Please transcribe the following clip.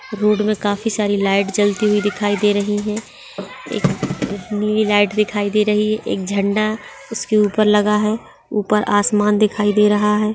Road पे काफी सारी लाइट जलती हुई दिखाई दे रही है एक एक नीली लाइट दिखाई दे रही है एक झंडा उसके ऊपर लगा है ऊपर आसमान दिखाई दे रहा है।